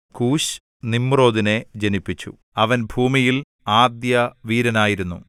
കൂശ് നിമ്രോദിനെ ജനിപ്പിച്ചു അവൻ ഭൂമിയിൽ ആദ്യവീരനായിരുന്നു